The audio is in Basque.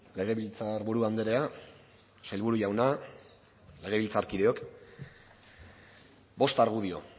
legebiltzarburu andrea sailburu jauna legebiltzarkideok bost argudio